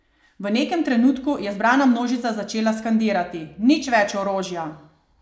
V nekem trenutku je zbrana množica začela skandirati: "Nič več orožja!